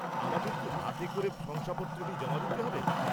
আমাদের কি হাতে করে শংসাপত্রটি জমা দিতে হবে?